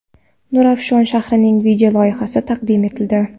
Nurafshon shahrining video loyihasi taqdim etildi .